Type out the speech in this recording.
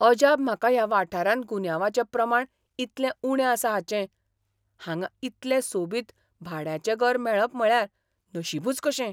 अजाप म्हाका ह्या वाठारांत गुन्यांवाचें प्रमाण इतलें उणें आसा हाचें ! हांगा इतलें सोबीत भाड्याचें घर मेळप म्हळ्यार नशिबच कशें.